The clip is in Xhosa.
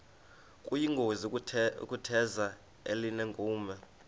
kuyingozi ukutheza elinenkume